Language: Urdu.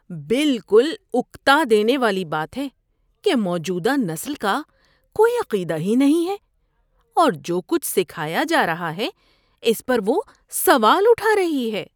بالکل اکتا دینے والی بات ہے کہ موجودہ نسل کا کوئی عقیدہ ہی نہیں ہے اور جو کچھ سکھایا جا رہا ہے اس پر وہ سوال اٹھا رہی ہے۔